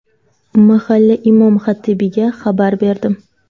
Mahalla imom xatibiga xabar berdim.